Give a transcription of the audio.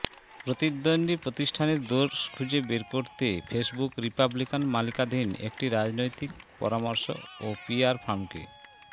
প্রতিদ্বন্দ্বী প্রতিষ্ঠানের দোষ খুঁজে বের করতে ফেসবুক রিপাবলিকান মালিকানাধীন একটি রাজনৈতিক পরামর্শ ও পিআর ফার্মকে